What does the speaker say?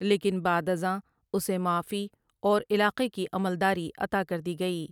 لیکن بعد ازاں اسے معافی اور علاقے کی عملداری عطا کر دی گئی ۔